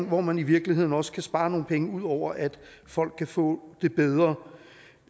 hvor man i virkeligheden også kan spare nogle penge ud over at folk kan få det bedre